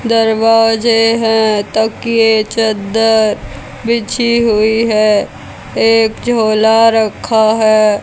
दरवाजे है तकिए चद्दर बिछी हुई है एक झोला रखा है।